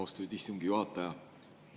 Austatud istungi juhataja!